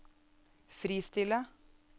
fristille